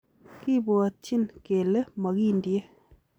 Kibwotyin kele mokindie.